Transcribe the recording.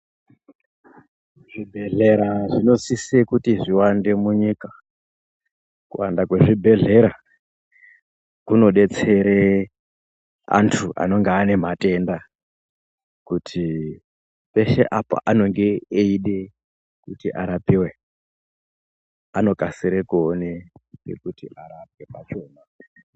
Zvibhehlera zvinosise kuti zviwande munyika. Kuwanda kwezvibhehlera kunodetsere antu anonga ane matenda, kuti peshe apa anonge eide kuti arapiwe anokasire kuone pekuti arapwe pachona.